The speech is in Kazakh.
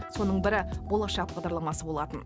соның бірі болашақ бағдарламасы болатын